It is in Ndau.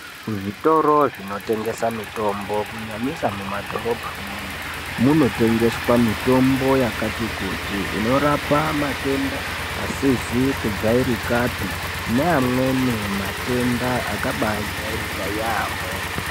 Kuzvitoro zvinotengesa mitombo kunyanyisa mumadhorobhamwo munotengeswa mitombo yakati kuti inorapa matenda asizi kujairika pe neamweni matenda akaba jairika yaamho.